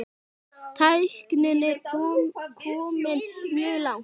Tæknin er komin mjög langt.